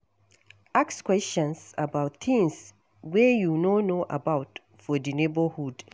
Ask questions about things wey you no know about for di neighbourhood